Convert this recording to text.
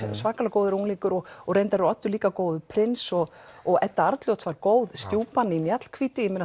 góður unglingur og og reyndar er Oddur líka góður prins og og Edda Arnljóts góð stjúpan í Mjallhvíti